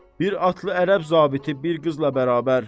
Bir atlı ərəb zabiti bir qızla bərabər.